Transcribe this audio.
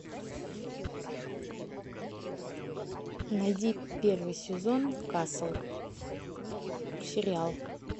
найди первый сезон касл сериал